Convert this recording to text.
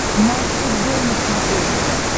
матч футбол на смотрешке